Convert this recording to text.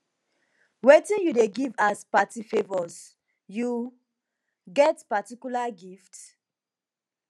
wetin you dey give as party favors you get particular gift